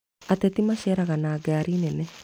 Ateti maceraga na ngari nene